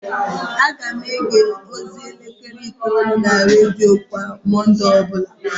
Ana m ege ozi elekere itoolu na redio kwa Mọnde ọ bụla